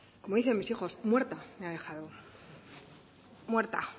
como dicen mis hijos muerta me ha dejado muerta